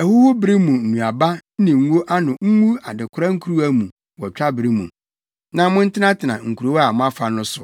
ahohuru bere mu nnuaba ne ngo ano ngu adekora nkuruwa mu wɔ twabere mu, na montenatena nkurow a moafa no so.”